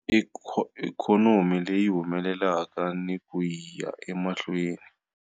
Ikhonomi leyi humelelaka ni ku ya emahlweni.